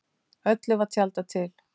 Öllu var tjaldað til.